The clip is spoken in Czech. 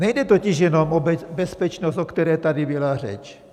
Nejde totiž jenom o bezpečnost, o které tady byla řeč.